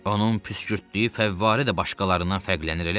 Onun püskürtdüyü fəvvarə də başqalarından fərqlənir, elə deyil?